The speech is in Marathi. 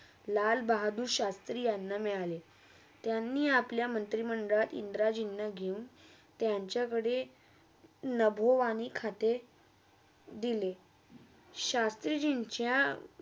लाल बहादूर शास्त्री यांना मिळाल त्यांनी अपल्या मंत्रीमंडल्यात इंद्राजिंना त्यात घेऊन त्यांच्याकडे नभोवाणीखाते दिले शास्त्रीजिंच्या